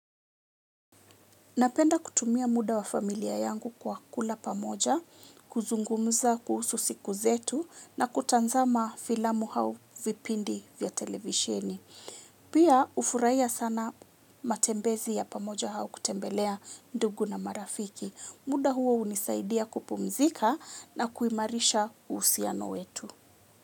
Napenda kutumia muda wa familia yangu kwa kula pamoja, kuzungumuza kuhusu siku zetu na kutazama filamu au vipindi vya televisheni. Pia hufurahia sana matembezi ya pamoja au kutembelea ndugu na marafiki. Muda huo hunisaidia kupumzika na kuimarisha uhusiano wetu.